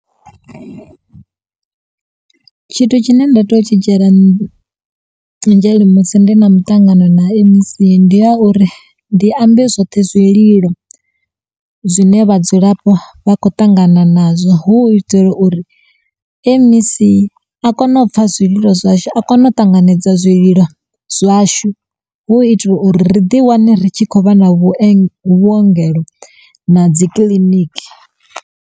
Tshithu tshine nda to yo u tshi dzhiela nzhele musi ndi na muṱangano na M_E_C ndi ya uri ndi ambe zwoṱhe zwililo zwine vhadzulapo vha kho ṱangana nazwo hu u itela uri M_E_C a kono u pfha zwililo zwashu a kono u ṱanganedza zwililo zwashu hu u itela uri ri ḓi wane ri tshi khou vha na vhuongelo na dzi kiḽiniki.